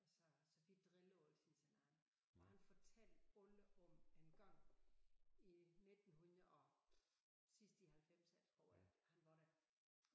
Og så så vi driller altid hinanden og han fortalt alle om en gang i 1900 og sidst i halvfemserne tror jeg han var der